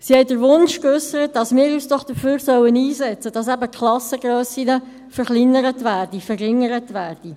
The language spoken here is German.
Diese haben den Wunsch geäussert, dass wir uns doch dafür einsetzen sollten, die Klassengrössen zu verringern.